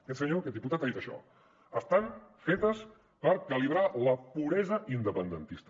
aquest senyor aquest diputat ha dit això estan fetes per calibrar la puresa independentista